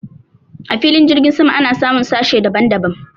a filin jirgi sama ana samun sashe daban daban